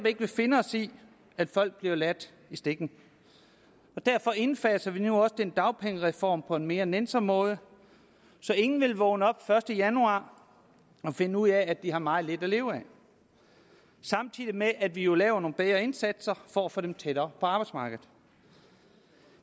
ikke vil finde os i at folk bliver ladt i stikken og derfor indfaser vi nu også den dagpengereform på en mere nænsom måde så ingen vil vågne op den første januar og finde ud af at de har meget lidt at leve af samtidig med at vi jo laver nogle bedre indsatser for at få dem tættere på arbejdsmarkedet